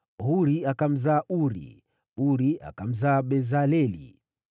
Huri akamzaa Uri, Uri akamzaa Bezaleli.